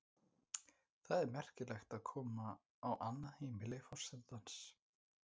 Það er merkilegt að koma á annað heimili forsetans.